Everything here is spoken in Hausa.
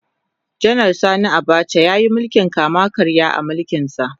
Janar Sani Abacha ya yi mulkin kama-karya a mulkinsa.